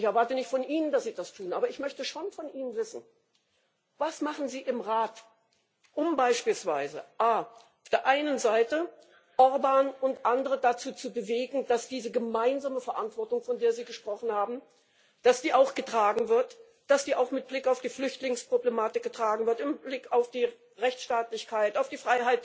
Ich erwarte nicht von Ihnen, dass Sie das tun, aber ich möchte schon von Ihnen wissen, was Sie im Rat machen, um beispielsweise auf der einen Seite Orbán und andere dazu zu bewegen, dass diese gemeinsame Verantwortung, von der Sie gesprochen haben, auch getragen wird, dass die auch mit Blick auf die Flüchtlingsproblematik getragen wird, mit Blick auf die Rechtsstaatlichkeit, auf die